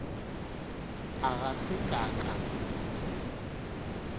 a ga se ka ka